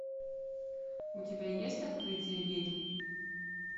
у тебя есть открытие ведьм